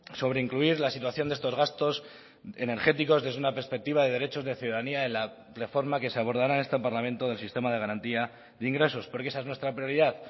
sobre incluir la situación de estos gastos energéticos desde una perspectiva de derechos de ciudadanía en la reforma que se abordará en este parlamento del sistema de garantía de ingresos porque esa es nuestra prioridad